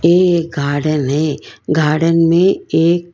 ये एक गार्डन है गार्डन में एक--